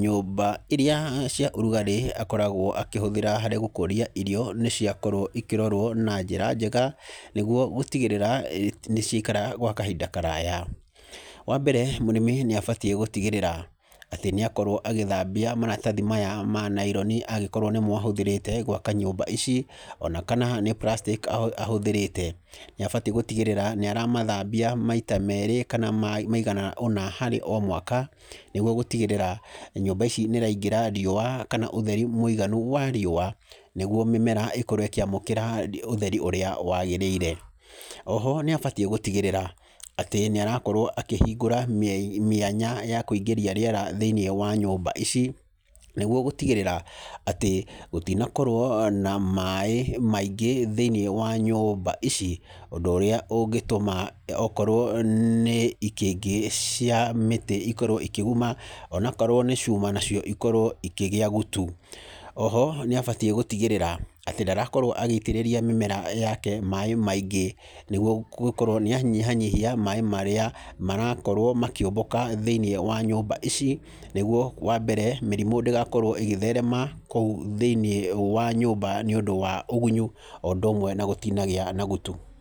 nyũmba iria cia ũrugarĩ akoragwo akĩhũthĩra harĩ gũkũria irio nĩ ciakorwo ikĩrorwo na njĩra njega nĩguo gũtigĩrĩra nĩ ciaikara gwa kahinda karaya. Wa mbere mũrĩmi nĩ abatiĩ gũtigĩrĩra atĩ nĩ akorwo agĩthambia maratathi maya ma naironi angikorwo nĩmo ahũthĩrĩte gwaka nyũmba ici o na kana nĩ plastic ahũthĩrĩte, nĩ abatiĩ gũtigĩrĩra nĩ aramathambia maita meerĩ kana maigana ũna harĩ o mwaka nĩguo gũtigĩrĩra nyũmba ici nĩ iraingĩra riũa kana ũtheri mũiganu wa riũa nĩguo mĩmera ĩkorwo ĩkĩamũkĩra ũtheri ũrĩa waagĩrĩire. O ho nĩ abatiĩ gũtigĩrĩra atĩ nĩ arakorwo akĩhingũra mĩanya ya kũingĩria rĩera thĩinĩ wa nyũmba ici nĩguo gũtigĩrĩra atĩ gũtinakorwo na maaĩ maingĩ thĩinĩ wa nyũmba ici, ũndũ ũrĩa ũngĩtũma okorwo nĩ ikĩngĩ cia mĩtĩ ikorwo ikĩguma, onokorwo nĩ cuma ikorwo ikĩgĩa gutu. O ho nĩ abatiĩ gũtigĩrĩra atĩ ndarakorwo agĩitĩrĩria mĩmera yake maaĩ maingĩ nĩguo gũkorwo nĩ anyihanyihia maaĩ marĩa marakorwo makĩũmbũka thĩinĩ wa nyũmba ici nĩguo wa mbere mĩrimũ ndigakorwo igĩtherema kũu thĩinĩ wa nyũmba nĩũndũ wa ũgunyu o ũndũ ũmwe na gũtinagĩa na gutu.